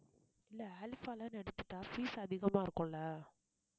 இல்லை அல்ஃபாலன்னு எடுத்துட்டா fees அதிகமா இருக்கும் இல்ல